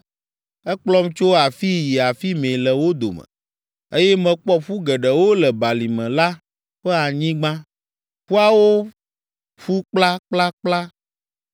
Ekplɔm tso afii yi afi mɛ le wo dome, eye mekpɔ ƒu geɖewo le balime la ƒe anyigba. Ƒuawo ƒu kplakplakpla.